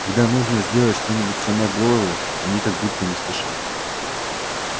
когда нужно сделать что-нибудь сломя голову они как будто не спешат